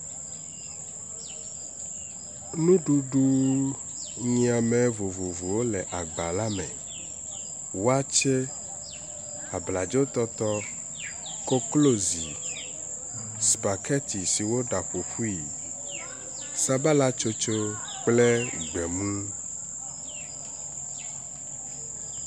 Nuɖuɖuunyiame vovovowo le agba la me. Wakye, abladzotɔtɔ, koklozi, spaghetti si woɖa ƒo ƒui, sabala kple gbemuu.